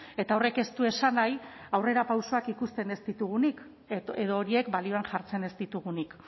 eta horrek ez du esan nahi aurrerapausoak ikusten ez ditugunik edo horiek balioan jartzen ez ditugunik